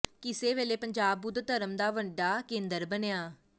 ਕਿਸੇ ਵੇਲੇ ਪੰਜਾਬ ਬੁੱਧ ਧਰਮ ਦਾ ਵੱਡਾ ਕੇਂਦਰ ਬਣਿਆ